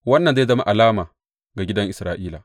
Wannan zai zama alama ga gidan Isra’ila.